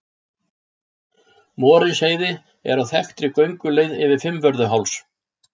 Morinsheiði er á þekktri gönguleið yfir Fimmvörðuháls.